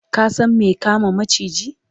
ka San me kama maciji?